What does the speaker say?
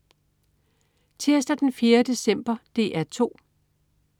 Tirsdag den 4. december - DR 2: